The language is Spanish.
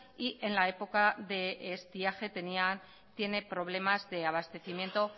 y en la época de estiaje tiene problemas de abastecimiento